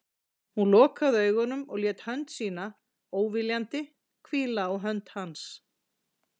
Hún lokaði augunum og lét hönd sína, óviljandi, hvíla á hönd hans.